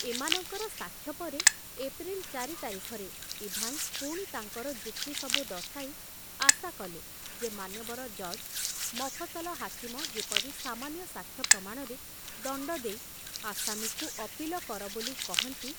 ଏମାନଙ୍କର ସାକ୍ଷ୍ୟ ପରେ ଏପ୍ରିଲ ଚାରି ତାରିଖରେ ଇଭାନ୍ସ ପୁଣି ତାଙ୍କର ଯୁକ୍ତି ସବୁ ଦର୍ଶାଇ ଆଶା କଲେ ଯେ ମାନ୍ୟବର ଜଜ ମଫସଲ ହାକିମ ଯେପରି ସାମାନ୍ୟ ସାକ୍ଷ୍ୟ ପ୍ରମାଣରେ ଦଣ୍ଡ ଦେଇ ଆସାମୀକୁ ଅପୀଲ କର ବୋଲି କହନ୍ତି।